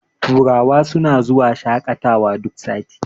turawa suna zuwa shaƙatawa duk sati